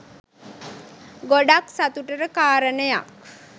ගොඩක් සතුටට කාරණයක්.